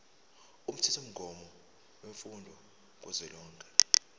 umthethomgomo wemfundo kazwelonke